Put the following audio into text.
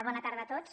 bona tarda a tots